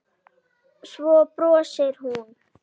Svo brosir hún.